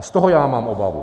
A z toho já mám obavu.